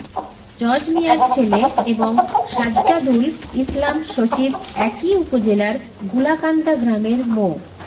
জজ মিয়ার ছেলে এবং সাজ্জাদুল ইসলাম সজীব একই উপজেলার গুলাকান্দা গ্রামের মো